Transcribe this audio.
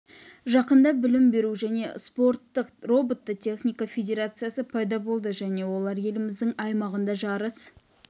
жақында білім беру және спорттық роботты техника федерациясы пайда болды және олар еліміздің аймағында жарыс